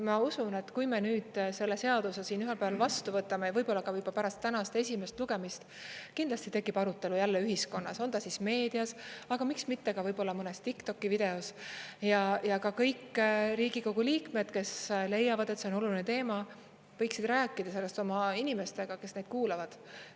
Ma usun, et kui me nüüd selle seaduse siin ühel päeval vastu võtame ja võib-olla ka pärast tänast esimest lugemist kindlasti tekib arutelu jälle ühiskonnas, on ta siis meedias, aga miks mitte ka võib-olla mõnes TikToki videos, ja ka kõik Riigikogu liikmed, kes leiavad, et see on oluline teema, võiksid rääkida sellest oma inimestega, kes neid kuulavad.